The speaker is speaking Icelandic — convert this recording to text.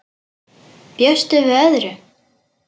Bjóstu við öðru?